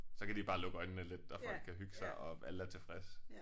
Så kan de bare lukke øjnene lidt og folk kan hygge sig og alle er tilfredse